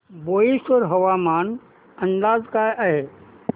बोईसर हवामान अंदाज काय आहे